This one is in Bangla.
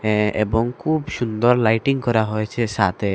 এ্যাঁ এবং খুব সুন্দর লাইটিং করা হয়েছে সাতে ।